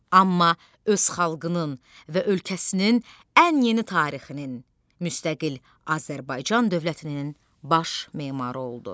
Amma öz xalqının və ölkəsinin ən yeni tarixinin müstəqil Azərbaycan dövlətinin baş memarı oldu.